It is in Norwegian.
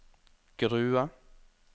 Grue